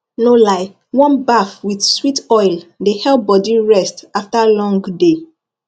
no lie warm baff with sweet oil dey help body rest after long day